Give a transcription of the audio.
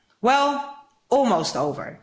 Well, almost over.